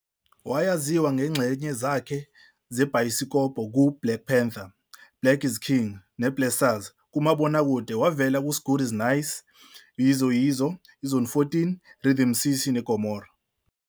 Wayaziwa ngezingxenye zakhe zebhayisikobho ku"Black Panther", Black Is King ne-Blessers kumabokakude, wavela ku-S'gudi S'nyasi, "I-Yizo Yizo 2", Zone 14, i-Rhythm City neGomorrah.